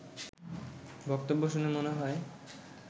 বক্তব্য শুনে মনে হয়